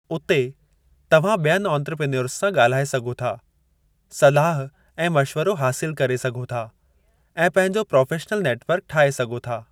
उते, तव्हां ॿियनि आंत्रप्रेन्योर्स सां ॻाल्हाए सघो था, सलाह ऐं मशवरो हासिलु करे सघो था, ऐं पंहिंजो प्रोफ़ेशनल नेट वर्क ठाहे सघो था।